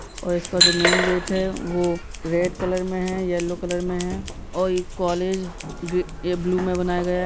और इसका जो मेन गेट है वो रेड कलर में है यलो कलर में है और ई कॉलेज ग्री ब्लू में बनाया गया है।